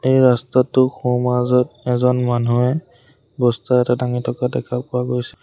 এই ৰাস্তাটো সোঁ মাজত এজন মানুহে বস্তা এটা ডাঙি থকা দেখা পোৱা গৈছে।